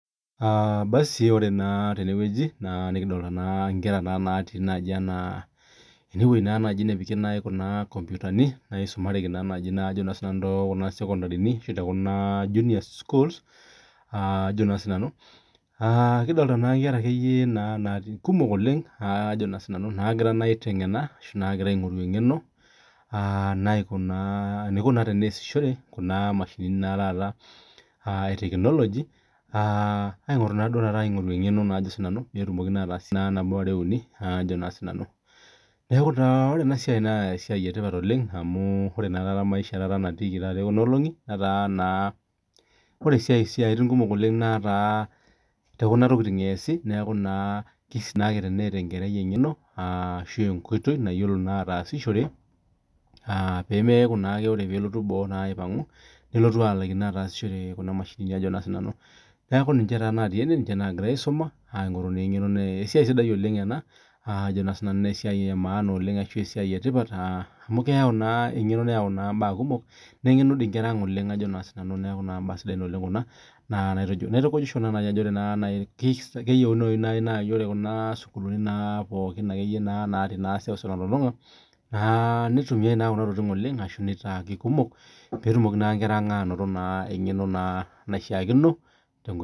Ore naa tenewueji nikidolita Nkera natii ewueji nepiki Kuna nkompitani nisumareki tekuna sekondarini[ashu junior sukuuls kidolita naa Nkera kumok oleng naagira aing'oru eng'eno eniko naa tenaisishore Kuna mashinini etekinoloji egira naa aing'oru eng'eno petumoki ataasie nabo are uni neeku ore ena siai naa mbae etipat oleng amu ore naa maisha natiki ekuna olongi netaa naa ore esiatin kumok netaa tekuna tokitin esiet neeku sidai tenetaa enkerai eng'eno nayiolo atasishore pee mekuu aa ore pee elotu boo melaikino neeku ninche naa natii ene egira aisuma esiai sidai ena oleng na esiai emaana amu keyau eng'eno neyau mbaa kumok nengenu naa Nkera ang oleng neeku mbaa sidan Kuna naitukujisho naaji Ajo keyieunoi naaji naa ore Kuna sukuulini natii seuseu pookin naitumiai Kuna tokitin oleng ashu nitai kumok pee etumoki enkera ang anoto eng'eno naishakino